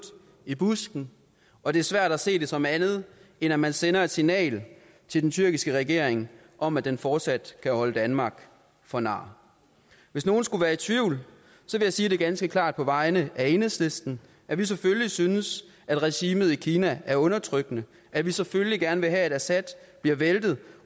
i busken og det er svært at se det som andet end at man sender et signal til den tyrkiske regering om at den fortsat kan holde danmark for nar hvis nogen skulle være i tvivl vil jeg sige det ganske klart på vegne af enhedslisten at vi selvfølgelig synes at regimet i kina er undertrykkende at vi selvfølgelig gerne vil have at assad bliver væltet